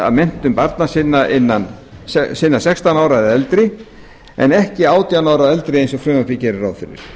af menntun barna sinna sextán ára og eldri en ekki átján ára og eldri eins og frumvarpið gerir ráð fyrir